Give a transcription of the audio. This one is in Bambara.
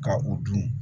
Ka u dun